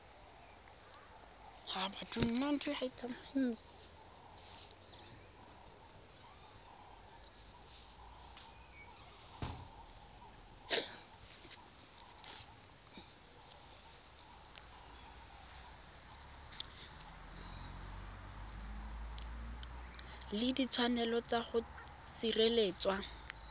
le ditshwanelo tsa go sireletswa